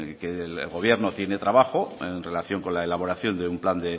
que que el gobierno tiene trabajo en relación con la elaboración de un plan